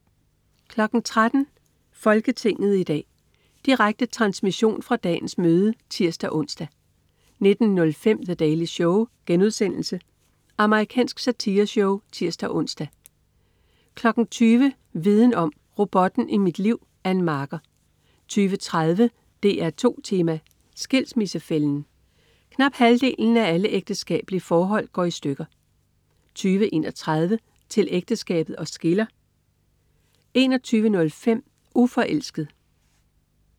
13.00 Folketinget i dag. Direkte transmission fra dagens møde (tirs-ons) 19.05 The Daily Show.* Amerikansk satireshow (tirs-ons) 20.00 Viden om: Robotten i mit liv. Ann Marker 20.30 DR2 Tema: Skilsmissefælden. Knap halvdelen af alle ægteskabelige forhold går i stykker 20.31 Til ægteskabet os skiller 21.05 Uforelsket